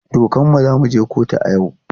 Dukanmu za mu je kotu a yau.